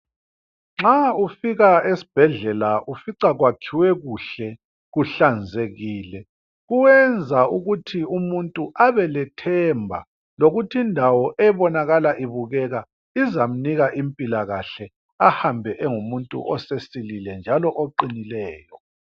Nxa ufika esibhedlela ufica kwakhiwe kuhle, kuhlanzekile, kuyenza ukuthi umuntu abelethemba lokuthi indawo ebonakala ibukeka izamnika impilakahle ahambe engumuntu osesilile njalo oqinileyo.